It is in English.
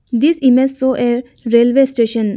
This image show a railway station.